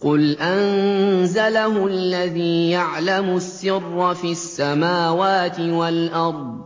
قُلْ أَنزَلَهُ الَّذِي يَعْلَمُ السِّرَّ فِي السَّمَاوَاتِ وَالْأَرْضِ ۚ